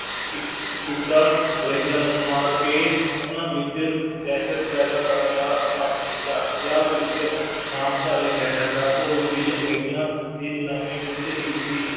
ਅੰਗਰੇਜ਼ਾਂ ਨੂੰ ਮਾਰ ਕੇ ਉਹਨਾ ਵਿੱਚ ਦਹਿਸ਼ਤ ਪੈਦਾ ਕਰਨ ਦਾ ਕੰਮ ਕੀਤਾ, ਪੰਜਾਬ ਵਿੱਚ ਨਾਮਧਾਰੀ ਲਹਿਰ ਦਾ ਘੋਲ ਵੀ ਅੰਗਰੇਜ਼ਾਂ ਦੀ ਗੁਲਾਮੀ ਵਿਰੁੱਧ ਹੀ ਸੀ,